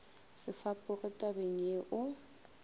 se fapoge tabeng ye o